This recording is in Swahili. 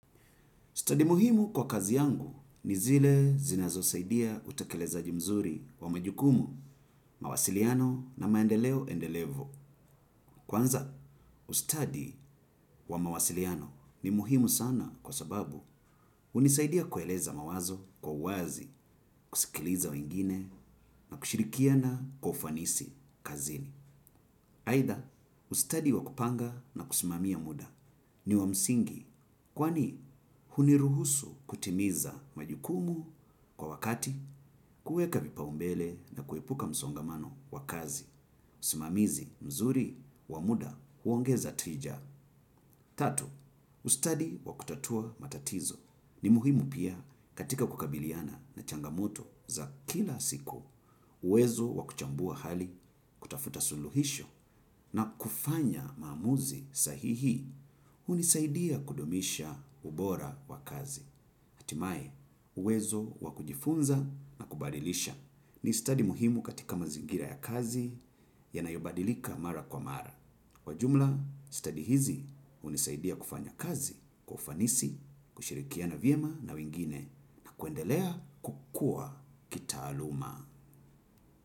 Stadi muhimu kwa kazi yangu ni zile zinazo saidia utekelezaji mzuri wa majukumu, mawasiliano na maendeleo endelevu. Kwanza, ustadi wa mawasiliano ni muhimu sana kwa sababu unisaidia kueleza mawazo kwa uwazi, kusikiliza wengine na kushirikiana kwa ufanisi kazini. Haida ustadi wakupanga na kusimamia muda ni wamsingi kwani huniruhusu kutimiza majukumu kwa wakati kuweka vipaumbele na kuepuka msongamano wakazi. Usimamizi mzuri wamuda huongeza tija. Tatu, ustadi wakutatua matatizo. Ni muhimu pia katika kukabiliana na changamoto za kila siku. Uwezo wakuchambua hali kutafuta suluhisho na kufanya mamuzi sahihi. Unisaidia kudumisha ubora wa kazi. Hatimae, uwezo wakujifunza na kubadilisha. Ni stadi muhimu katika mazingira ya kazi ya nayobadilika mara kwa mara. Kwajumla, study hizi unisaidia kufanya kazi, kwa ufanisi, kushirikia na vyema na wengine na kuendelea kukua kita aluma.